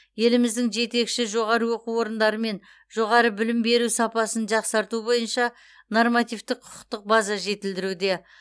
еліміздің жетекші жоғары оқу орындарымен жоғары білім беру сапасын жақсарту бойынша нормативтік құқықтық база жетілдірілуде